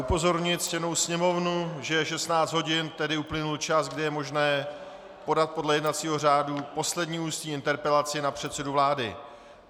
Upozorňuji ctěnou Sněmovnu, že je 16 hodin, tedy uplynul čas, kdy je možné podat podle jednacího řádu poslední ústní interpelaci na předsedu vlády.